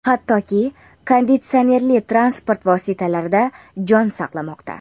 hattoki konditsionerli transport vositalarida jon saqlamoqda.